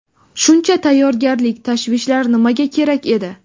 Shuncha tayyorgarlik, tashvishlar nimaga kerak edi?